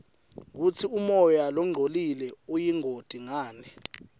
kutsi umoya longcolile uyingoti ngani